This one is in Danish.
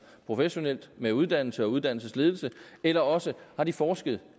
professionelt med uddannelse og uddannelsesledelse eller også har de forsket